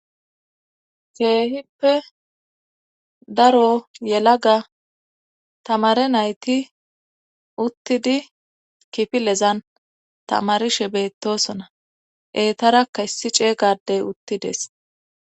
keehippe daro yelaga tamare nayti uttidi kifilezan tamarishe beettosona eetarakka issi c'ega adey utides